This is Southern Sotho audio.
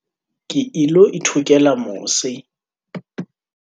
ke ilo ithokela mose